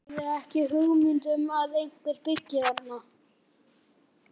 Ég hafði ekki hugmynd um að einhver byggi þarna.